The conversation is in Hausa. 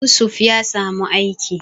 Yusuf ya samu aiki